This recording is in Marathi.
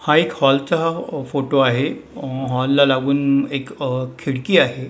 हा एक हॉल चा फोटो आहे हॉल ला लागून एक खिडकी आहे.